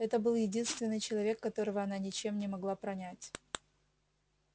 это был единственный человек которого она ничем не могла пронять